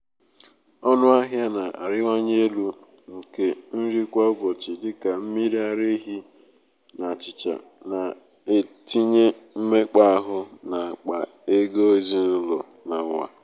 ọnụahịa na-arịwanye elu nke nri kwa um ụbọchị dị ka mmiri ara ehi na achịcha na-etinye mmekpa áhù n’akpa ego ezinụlọ n’ụwa niile.